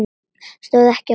Stóð ekki á sama.